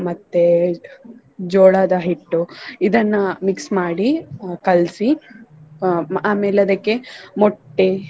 ಮತ್ತೆ ಜೋಳದ ಹಿಟ್ಟು ಇದನ್ನ mix ಮಾಡಿ ಹ~ ಕಲ್ಸಿ ಅಹ್ ಆಮೇಲೆ ಅದಕ್ಕೆ ಮೊಟ್ಟೆ.